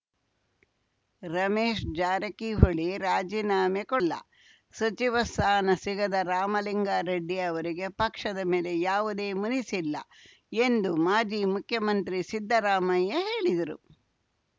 ರಮೇಶ್‌ ಜಾರಕಿಹೊಳಿ ರಾಜಿನಾಮೆ ಕೊಡಲ್ಲ ಸಚಿವ ಸ್ಥಾನ ಸಿಗದ ರಾಮಲಿಂಗಾರೆಡ್ಡಿ ಅವರಿಗೆ ಪಕ್ಷದ ಮೇಲೆ ಯಾವುದೇ ಮುನಿಸಿಲ್ಲ ಎಂದು ಮಾಜಿ ಮುಖ್ಯಮಂತ್ರಿ ಸಿದ್ದರಾಮಯ್ಯ ಹೇಳಿದರು